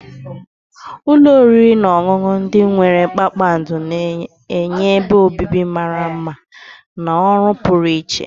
Ụlọ oriri na ọṅụṅụ ndị nwere kpakpando na-enye ebe obibi mara mma na ọrụ pụrụ iche.